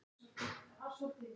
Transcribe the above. Dísa á plötuna.